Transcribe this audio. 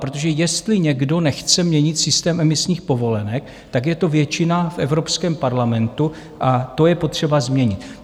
Protože jestli někdo nechce měnit systém emisních povolenek, tak je to většina v Evropském parlamentu, a to je potřeba změnit.